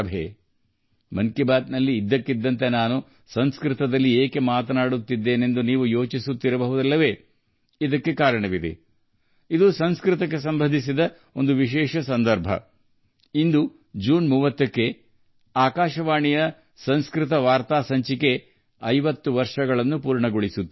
'ಮನ್ ಕಿ ಬಾತ್'ನಲ್ಲಿ ನಾನು ಇದ್ದಕ್ಕಿದ್ದಂತೆ ಸಂಸ್ಕೃತದಲ್ಲಿ ಏಕೆ ಮಾತನಾಡುತ್ತಿದ್ದೇನೆ ಎಂದು ನೀವು ಯೋಚಿಸುತ್ತಿರಬಹುದು ಇದಕ್ಕೆ ಕಾರಣ ಇಂದಿನ ಸಂಸ್ಕೃತಕ್ಕೆ ಸಂಬಂಧಿಸಿದ ವಿಶೇಷ ಸಂದರ್ಭ ಇಂದು ಜೂನ್ 30ರಂದು ಆಕಾಶವಾಣಿಯ ಸಂಸ್ಕೃತ ವಾರ್ತಾ ಪ್ರಸಾರವು 50 ವರ್ಷಗಳನ್ನು ಪೂರೈಸುತ್ತಿದೆ